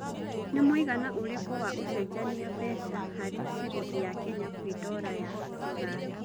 nĩ mũigana ũrĩkũ wa ũcenjanĩa mbeca harĩ cĩrĩngĩ ya Kenya kwĩ dola ya rũraya